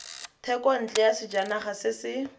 thekontle ya sejanaga se se